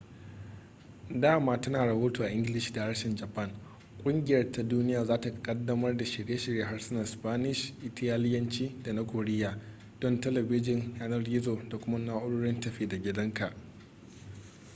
dama tana rahoto a ingilishi da harshen japan ƙungiyar ta duniya za ta ƙaddamar da shirye-shiryen harsunan spanish italiyanci da na koriya don talabijin yanar-gizo da kuma na'urorin tafi-da-gidanka